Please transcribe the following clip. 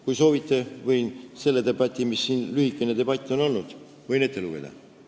Kui soovite, võin selle lühikese debati kirjelduse ette lugeda.